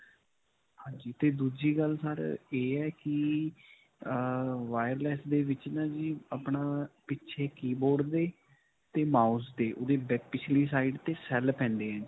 ਹਾਂਜੀ, ਤੇ ਦੂਜੀ ਗੱਲ sir ਇਹ ਹੈ ਕਿ ਅਅ wireless ਦੇ ਵਿੱਚ ਨਾ ਜੀ ਆਪਣਾ ਪਿੱਛੇ keyboard ਦੇ mouse ਦੇ ਓਹਦੇ ਪਿਛਲੀ side ਤੇ cell ਪੈਂਦੇ ਹੈ ਜੀ.